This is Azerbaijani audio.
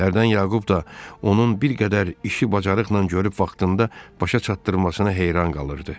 Hərdən Yaqub da onun bir qədər işi bacarıqla görüb vaxtında başa çatdırmasına heyran qalırdı.